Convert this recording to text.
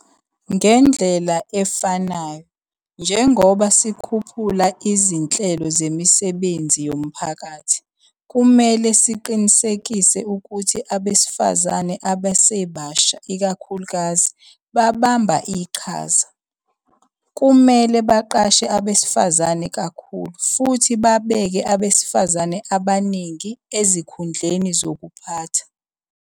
Ngendlela efanayo, njengoba sikhuphula izinhlelo zemisebenzi yomphakathi, kumele siqinisekise ukuthi abesifazane abasebasha ikakhulukazi babamba iqhaza. Kumele baqashe abesifazane kakhulu futhi babeke abesifazane abaningi ezikhundleni zokuphatha.